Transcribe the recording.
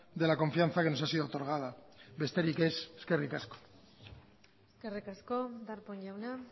de la confianza que nos ha sido otorgada besterik ez eskerrik asko eskerrik asko darpón jauna